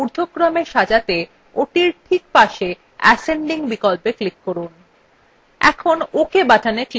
cost ঊর্ধক্রমে সাজাতে ওটির ঠিক পাশে ascending বিকল্পে click করুন